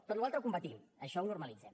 tota la resta ho combatem això ho normalitzem